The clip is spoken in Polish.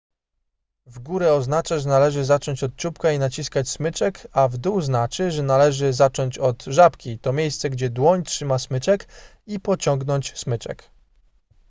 w górę oznacza że należy zacząć od czubka i naciskać smyczek a w dół znaczy że należy zacząć od żabki to miejsce gdzie dłoń trzyma smyczek i pociągnąć smyczek